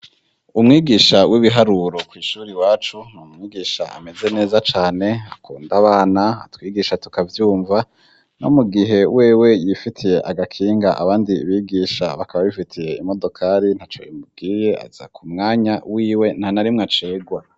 umwigisha w'ibiharuro kwishuri iwacu n'umwigisha ameze neza cane akunda abana atwigisha tukavyumva ni mu gihe wewe yifitiye agakinga, abandi bigisha bakaba bifitiye imodokari ntaco bimubwiye aza ku mwanya wiwe ntanarimwe acegwa.